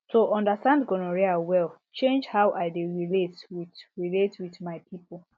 to understand gonorrhea well change how i dey relate with relate with my people